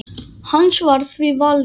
Hans var því valdið.